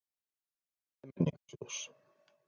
Alfræði Menningarsjóðs.